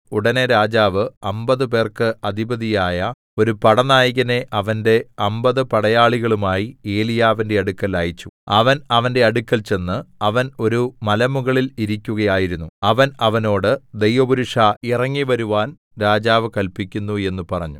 ഉടനെ രാജാവ് അമ്പതുപേർക്ക് അധിപതിയായ ഒരു പടനായകനെ അവന്റെ അമ്പത് പടയാളികളുമായി ഏലിയാവിന്റെ അടുക്കൽ അയച്ചു അവൻ അവന്റെ അടുക്കൽ ചെന്നു അവൻ ഒരു മലമുകളിൽ ഇരിക്കുകയായിരുന്നു അവൻ അവനോട് ദൈവപുരുഷാ ഇറങ്ങിവരുവാൻ രാജാവ് കല്പിക്കുന്നു എന്ന് പറഞ്ഞു